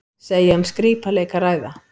Segja um skrípaleik að ræða